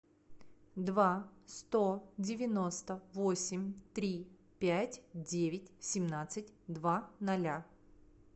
два сто девяносто восемь три пять девять семнадцать два ноля